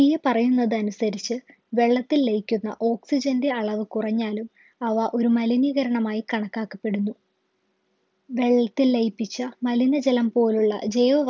ഈ പറയുന്നതനുസരിച്ച് വെള്ളത്തിൽ ലയിക്കുന്ന oxygen ൻ്റെ അളവ് കുറഞ്ഞാലും അവ ഒരു മലിനീകരണമായി കണക്കാക്കപ്പെടുന്നു വെള്ളത്തിൽ ലയിപ്പിച്ച മലിനജലം പോലുള്ള ജൈവ